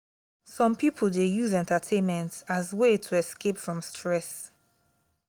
some pipo dey use entertainment as way to escape from stress